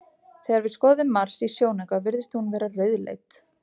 Þegar við skoðum Mars í sjónauka virðist hún vera rauðleit.